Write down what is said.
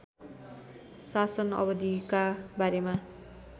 शासन अवधिका बारेमा